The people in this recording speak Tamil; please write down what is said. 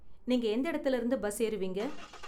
நீங்க எந்த இடத்துல இருந்து பஸ் ஏறுவீங்க?